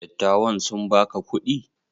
Dattawan sun baka kuɗi?